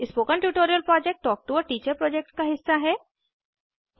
spoken tutorial project talk to a teacher project का हिस्सा है